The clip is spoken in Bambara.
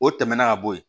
O tɛmɛnen ka bɔ yen